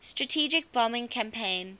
strategic bombing campaign